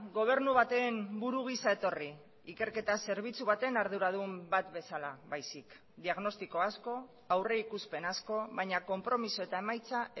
gobernu baten buru gisa etorri ikerketa zerbitzu baten arduradun bat bezala baizik diagnostiko asko aurrikuspen asko baina konpromiso eta emaitza